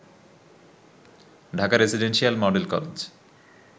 Dhaka residential model college